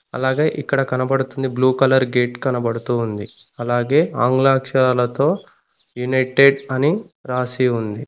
అలాగే ఇక్కడ కనబడుతుంది బ్లూ కలర్ గేట్ కనబడుతూ ఉంది అలాగే ఆంగ్ల అక్షరాలతో యునైటెడ్ అని రాసి ఉంది.